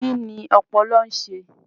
Kí ni ọpọlọ ń ṣe?